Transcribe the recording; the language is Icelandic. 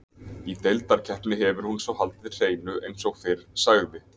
Í deildarkeppni hefur hún svo haldið hreinu eins og fyrr sagði.